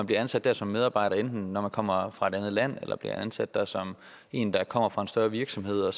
bliver ansat der som medarbejder enten når man kommer fra et andet land eller bliver ansat der som en der kommer fra en større virksomhed og